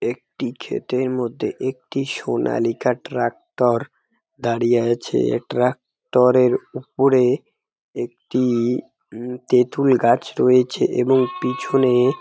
একটি খেতের মধ্যে একটি সোনা লিখা ট্রাক্টর দাঁড়িয়ে আছে এই ট্রাক্টর -এর উপরে একটি উম তেঁতুল গাছ রয়েছে উমএবং পিছনে।